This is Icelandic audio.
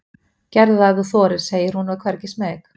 Gerðu það ef þú þorir, segir hún og er hvergi smeyk.